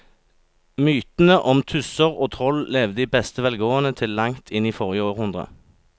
Mytene om tusser og troll levde i beste velgående til langt inn i forrige århundre.